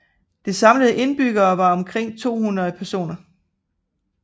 Det samlede antal indbyggere var omkring 200 personer